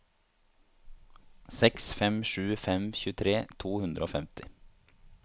seks fem sju fem tjuetre to hundre og femti